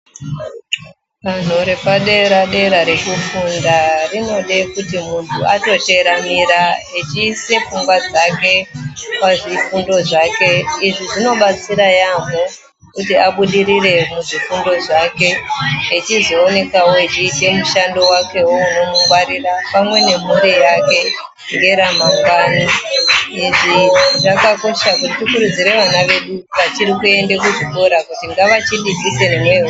Danho repadera dera rekufunda rinode kuti munhu atoteramira aise pfungwa dzake pazvifundo zvake. Izvi zvakakosha kuti tikurudzire vana vedu vachiri kuende kuchikora kuti ngavazviitewo..